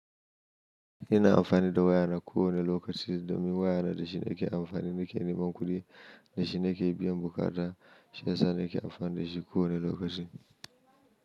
Ina amfani da wayana ko wane lokaci domin wayana da shi nake amfani nake neman kuɗi, da shi nake biyan buƙata, shiyasa nake amfani da shi ko wane lokaci.